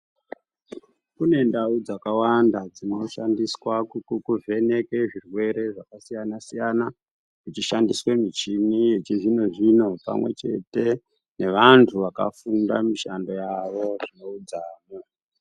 Kunendau dzakawanda dzinoshandiswa kuvheneke zvirwere zvakasiyana-siyana kuchishandiswa michini yechizvinozvino pamwechete nevantu vakafunda mishando yavo zvineudzamu.